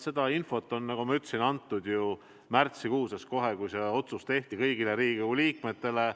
Esiteks, infot anti, nagu ma ütlesin, märtsikuus, st kohe, kui see otsus tehti, kõigile Riigikogu liikmetele.